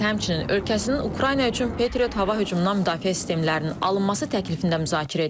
Mers həmçinin ölkəsinin Ukrayna üçün Patriot hava hücumundan müdafiə sistemlərinin alınması təklifində müzakirə edib.